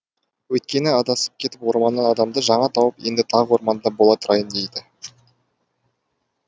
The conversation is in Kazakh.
өйткені адасып кетіп орманнан адамды жаңа тауып енді тағы орманда бола тұрайын дейді